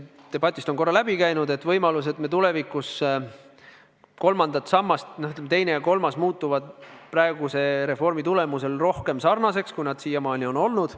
Debatist on korra läbi käinud võimalus, et tulevikus teine ja kolmas sammas muutuvad praeguse reformi tulemusel rohkem sarnaseks, kui nad siiamaani on olnud.